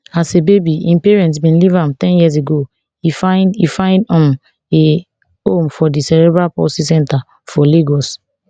as a baby im parents bin leave am ten years ago e find e find um a home for di cerebral palsy centre for lagos